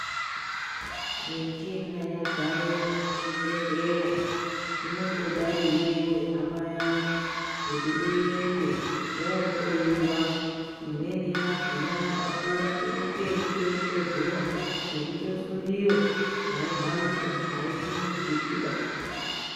Michina yadzare muzvibhehlera inongoda iveve hama yangu kuti uende vohloyiva imweni yakona yakakura inoite ekutochovheva, yosundiva aihambiba ,aisimudziki ba.